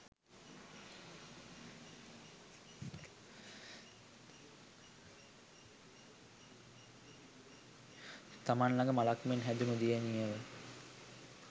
තමන් ළග මලක් මෙන් හැදුනු දියණියව